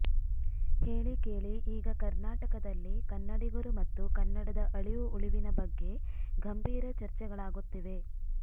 ಹೇಳಿಕೇಳಿ ಈಗ ಕರ್ನಾಟಕದಲ್ಲಿ ಕನ್ನಡಿಗರು ಮತ್ತು ಕನ್ನಡದ ಅಳಿವು ಉಳಿವಿನ ಬಗ್ಗೆ ಗಂಭೀರ ಚರ್ಚೆಗಳಾಗುತ್ತಿವೆ